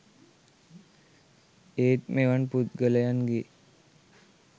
ඒත් මෙවන් පුද්ගලයන් ගේ